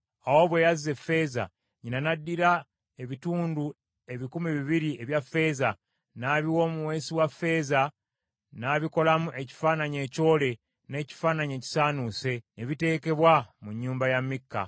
Awo bwe yazza effeeza, nnyina n’addira ebitundu ebikumi bibiri ebya ffeeza , n’abiwa omuweesi wa ffeeza, n’abikolamu ekifaananyi ekyole n’ekifaananyi ekisaanuuse. Ne biteekebwa mu nnyumba ya Mikka.